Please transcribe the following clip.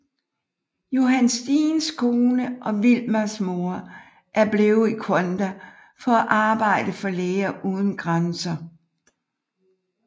Johan Steens kone og Wilmas mor er blevet i Rwanda for at arbejde for Læger uden grænser